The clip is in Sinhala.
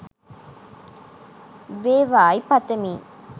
වේවායි පතමි.